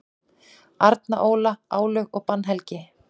Árni Óla: Álög og bannhelgi.